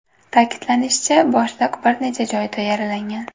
Ta’kidlanishicha, boshliq bir nechta joyida yaralangan.